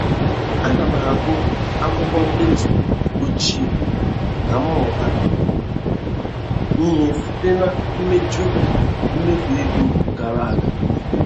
A na m agụ akwụkwọ ndetu ochie ka m mụta ihe site na mmejọ mmefu ego gara aga